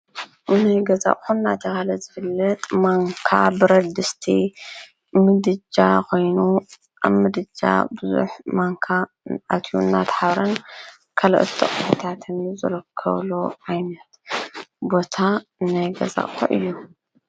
ናይ ገዛ አቐሑ እናተብሃለ ዝፍለጥ ማንካ፣ ብረድስቲ፣ ምድጃ ኮይኑ፤ አብ ምድጃ ቡዙሕ ማንካ አትዩ እናተሓብረ ካልኦት አቑሑታትን ዝርከቡሉ ዓይነት ቦታ ናይ ገዛ አቑሑ እዩ፡፡